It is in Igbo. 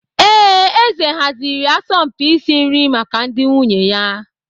Ee, eze haziri asọmpi isi nri maka ndị nwunye ya.